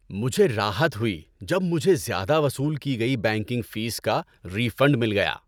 مجھے راحت ہوئی جب مجھے زیادہ وصول کی گئی بینکنگ فیس کا ری فنڈ مل گیا۔